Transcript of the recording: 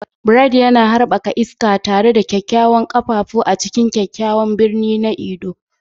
Bright yana harba iska tare da ƙwaƙƙwaran ƙafafu a cikin kyakkyawan birni na Ondo.